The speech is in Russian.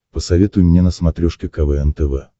посоветуй мне на смотрешке квн тв